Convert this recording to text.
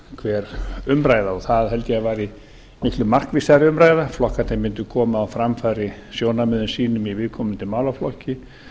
hver umræða það held ég að væri miklu markvissari umræða flokkarnir mundu koma á framfæri sjónarmiðum sínum í viðkomandi málaflokki